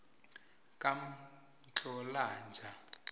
kamhlolanja